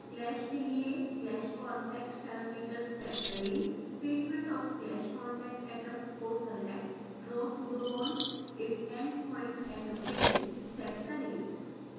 clash के लिए clash/contact parameters set करेंtreatment of clash/contact atoms को select draw pseudobonds if end point atom hidden set करें